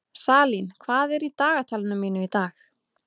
Salín, hvað er í dagatalinu mínu í dag?